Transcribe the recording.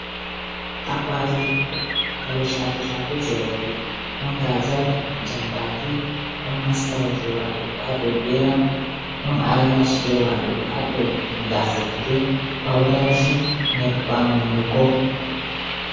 Akwati kare chafe chafe je roɓe, ɗon gazal, jambaki, ɗon maskara je wadugu ha dau geram, don aylash je wadugu ha dau gasa gite, pauda ji, nyembam hunduko.